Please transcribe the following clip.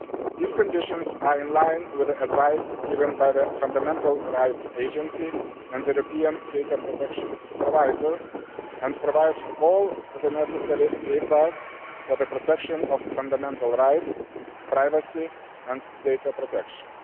These conditions are in line with the advice given by the Fundamental Rights Agency and the European Data Protection Supervisor, and provide all the necessary safeguards for the protection of fundamental rights, privacy and data protection.